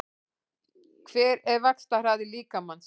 Hver er vaxtarhraði líkamans?